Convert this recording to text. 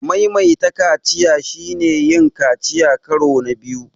Maimaita kaciya shine yin kaciya karo na biyu.